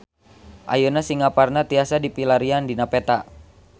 Ayeuna Singaparna tiasa dipilarian dina peta